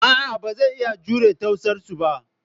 A'a, ba zan iya jure ta'asarsu ba.